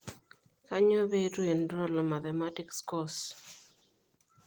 Kanyioo pee eitu iinrool wo mathematics course?